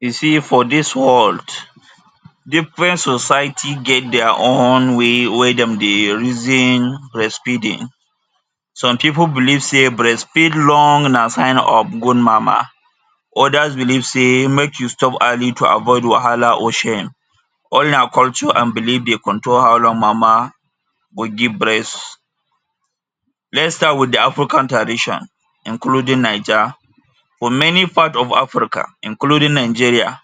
You see for dis world, different society get dia own way wey dem dey reason breastfeeding. Some pipu believe sey breastfeed long na sign of good mama. Others believe sey make you stop early to avoid wahala or shame. All na culture and belief dey control how long mama go give breast. Let’s start with de African tradition including Naija. For many part of Africa including Nigeria,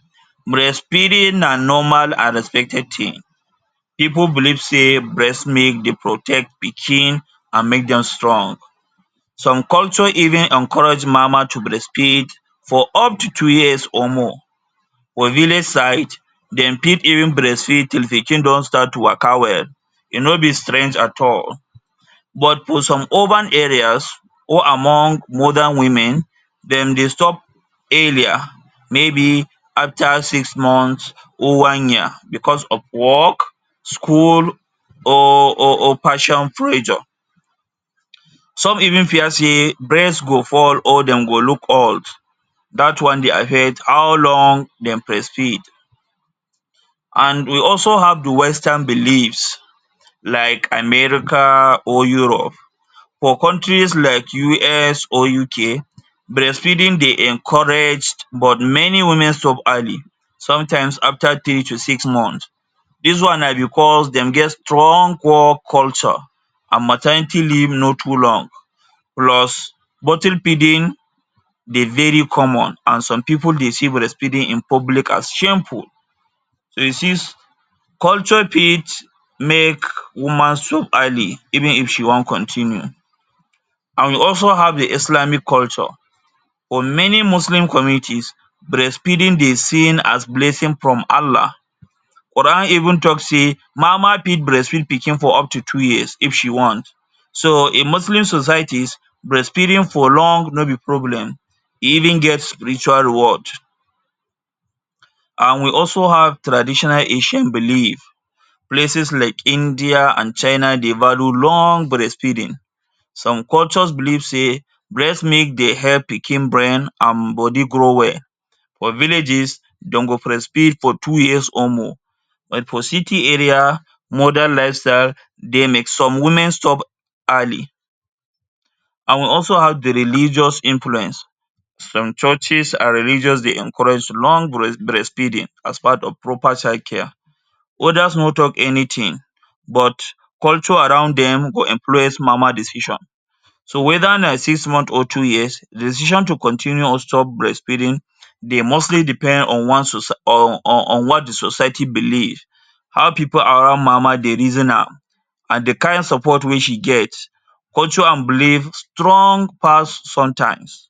breastfeeding na normal and respected tin. Pipu believe say breast milk dey protect pikin and make dem strong. Some culture even encourage mama to breastfeed for up to two years or more. For village side dem fit even breastfeed till pikin don start to waka well. E no be strange at all. But for some urban areas or among modern women, dem dey stop earlier, maybe after six months or one year because of work, school, or or or fashion pressure. Some even fear sey, breast go fall or dem go look old. Dat one dey affect how long dem breastfeed. And we also have de western beliefs like America or Europe. For countries like US or UK, breastfeeding dey encouraged, but many women stop early, sometimes after three to six months. Dis one na because dem get strong work culture and maternity leave no too long, plus bottle feeding dey very common, and some pipu dey see breastfeeding in public as shameful. So you see, culture fit make woman stop early even if she wan continue. And we also have de Islamic culture. For many muslim communities, breastfeeding dey seen as blessing from Allah. Qur’an even talk sey mama fit breastfeed pikin for up to two years if she want. So in Muslim societies, breastfeeding for long no be problem, e even get spiritual reward. And we also have traditional Asian belief. Places like India and China dey value long breastfeeding. Some cultures believe sey breast milk dey help pikin brain and body grow well. For villages, dem go breastfeed for two years or more. But for city area, modern lifestyle dey make some women stop early. And we also have de religious influence. Some churches and religions dey encourage long breastfeeding as part of proper child care. Others no talk anything, but culture around dem go influence mama decision. So whether na six months or two years, decision to continue or stop breastfeeding dey mostly depend on one socie on on what de society believe, how pipu around mama dey reason am, and de kain support wey she get. Culture and belief strong pass sometimes.